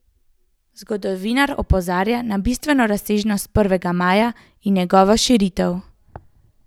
Zgodovinar opozarja na bistveno razsežnost prvega maja in njegovo širitev.